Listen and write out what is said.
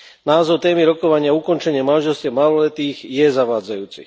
Názov témy rokovania Ukončenie manželstiev maloletých je zavádzajúci.